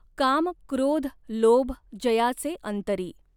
काम क्रॊध लॊभ जयाचॆ अंतरीं.